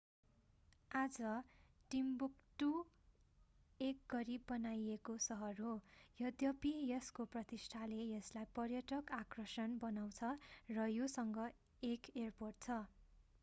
आज टिम्बुक्टु एक गरीब बनाइएको सहर हो यद्यपि यसको प्रतिष्ठाले यसलाई पर्यटक आकर्षण बनाउँछ र योसँग एक एयरपोर्ट छ